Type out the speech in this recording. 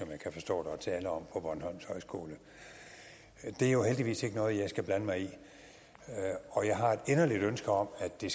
jeg kan forstå der er tale om på bornholms højskole det er jo heldigvis ikke noget jeg skal blande mig i og jeg har et inderligt ønske om at det